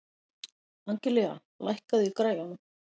Angelía, lækkaðu í græjunum.